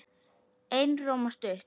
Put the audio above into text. Einróma stutt.